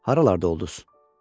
Haralarda olduz?